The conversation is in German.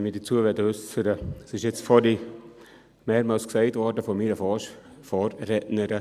Es wurde vorhin von meiner Vorrednerin mehrmals gesagt: Angebote des Staates.